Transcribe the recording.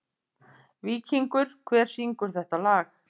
Víkingur, hver syngur þetta lag?